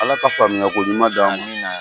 Ala ka faamuya ko ɲuman d'a ma. Amina yarabi.